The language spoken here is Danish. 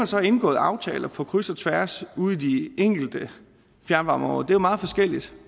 så har indgået aftaler på kryds og tværs ude i de enkelte fjernvarmeområder er meget forskelligt